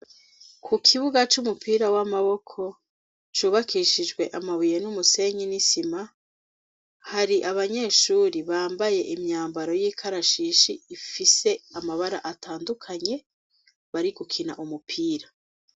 Ku kibuga c'umupira w'amaboko ,cubakishijwe amabuye ,n'umusenyi ,n'isima ,hari abanyeshuri bambaye imyambaro y'ikarashishi ,ifise amabara atandukanye ,bari gukina umupira.